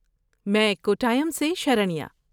میں کوٹائم سے شرنیا۔